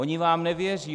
Oni vám nevěří.